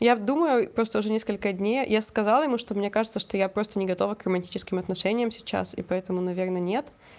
я вот думаю просто уже несколько дней я сказала ему что мне кажется что я просто не готова к романтическим отношениям сейчас и поэтому наверное нет